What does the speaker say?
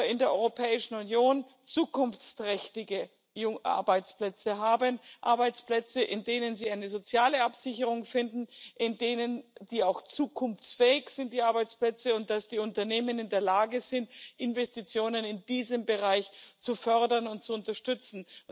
in der Europäischen Union zukunftsträchtige Arbeitsplätze haben, Arbeitsplätze, in denen sie eine soziale Absicherung finden, zukunftsfähige Arbeitsplätze, und dass die Unternehmen in der Lage sind, Investitionen in diesem Bereich zu fördern und zu unterstützen.